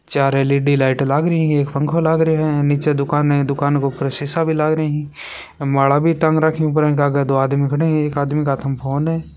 चार LED light लाग री है एक पंखा लाग रा है नीचे दुकान है दुकान के ऊपर शीसा भी लग रा है माला भी टांग राखी है ऊपर इनके आगे दो आदमी खड़े है एक आदमी के हाथा में फ़ोन है।